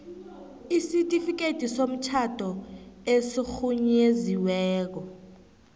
isitifikhethi somtjhado esirhunyeziweko